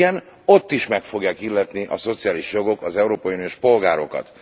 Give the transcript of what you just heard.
Igen, ott is meg fogják illetni a szociális jogok az európai uniós polgárokat.